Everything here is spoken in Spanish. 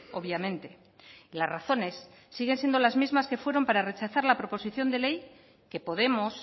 obviamente las razones siguen siendo las mismas que fueron para rechazar la proposición de ley que podemos